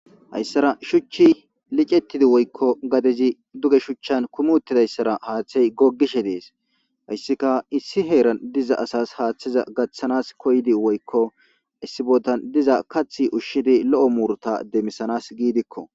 hayssara shuchchi licettidi woykko gadezi duge shuchchan kumuttidayssara haaththey goggishe dees hayssika issi heeran diza asas haaththiza gaththanas koydi woykko issibodan diza kathi ushshidi lo7o muurta demmisanas giidikko